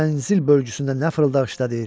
Mənzil bölgüsündə nə fırıldaq işlədəcək.